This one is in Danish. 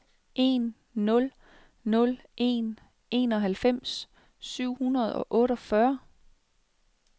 en nul nul en enoghalvfems syv hundrede og otteogfyrre